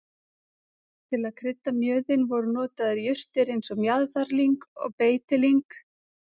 til að krydda mjöðinn voru notaðar jurtir eins og mjaðarlyng og beitilyng